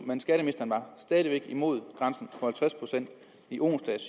men skatteministeren var stadig væk imod grænsen på halvtreds procent i onsdags